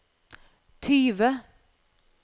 tyve